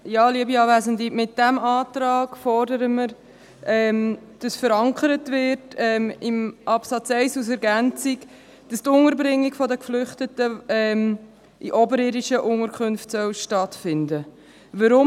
Mit diesem Antrag fordern wir, dass in Absatz 1 als Ergänzung verankert wird, dass die Unterbringung der Geflüchteten in «oberirdischen» Unterkünften stattfinden soll.